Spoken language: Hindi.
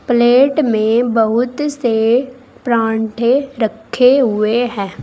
प्लेट में बहुत से परांठे रखे हुए हैं।